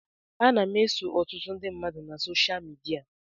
Ana m eso ọtụtụ ndị mmadụ na soshal midia.